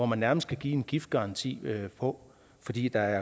man nærmest kan give en giftgaranti på fordi der